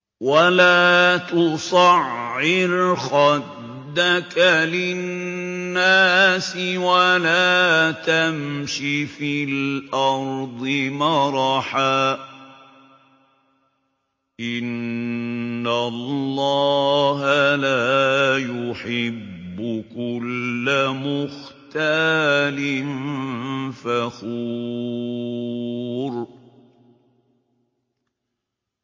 وَلَا تُصَعِّرْ خَدَّكَ لِلنَّاسِ وَلَا تَمْشِ فِي الْأَرْضِ مَرَحًا ۖ إِنَّ اللَّهَ لَا يُحِبُّ كُلَّ مُخْتَالٍ فَخُورٍ